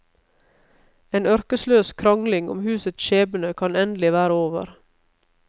En ørkesløs krangling om husets skjebne kan endelig være over.